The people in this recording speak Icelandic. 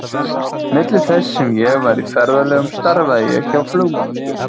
Milli þess sem ég var í ferðalögum starfaði ég hjá flugmálastjórn.